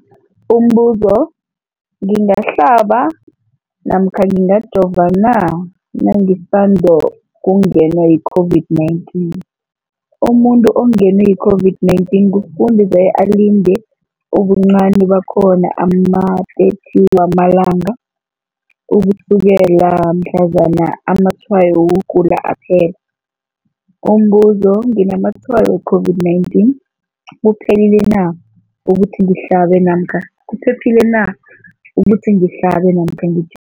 Umbuzo, ngingahlaba namkha ngingajova na nangisandu kungenwa yi-COVID-19? Umuntu ongenwe yi-COVID-19 kufuze alinde ubuncani bakhona ama-30 wama langa ukusukela mhlazana amatshayo wokugula aphela. Umbuzo, nginamatshayo we-COVID-19, kuphephile na ukuthi ngihlabe namkha ngi